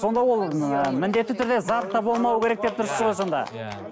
сонда ол ыыы міндетті түрде зат та болмауы керек деп тұрсыз ғой сонда иә